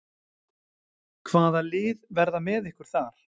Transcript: Hvaða lið verða með ykkur þar?